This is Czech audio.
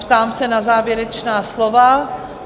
Ptám se na závěrečná slova?